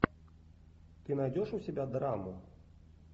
ты найдешь у себя драму